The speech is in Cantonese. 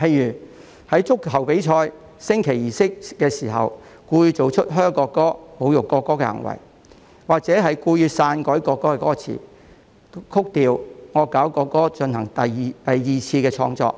例如在足球比賽的升旗儀式上，作出向國歌喝倒采和侮辱國歌的行為，或故意篡改國歌歌詞、曲調、惡搞國歌進行二次創作。